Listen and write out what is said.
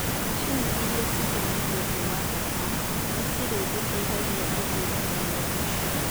Macini iria ciatumĩtwo kuuma Japan nĩ cira tũteithia kũhiũrania na ũndũ ũcio